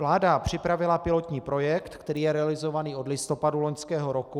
Vláda připravila pilotní projekt, který je realizován od listopadu loňského roku.